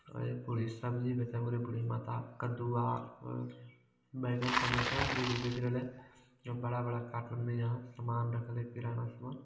और एक बूढ़ी सब्जी बेचे बूढ़ी माता कदुआ अ बैंगन टमाटर जे भी बैच रहले और बड़ा बड़ा कार्टून में यहाँ समान रखले किराना समान।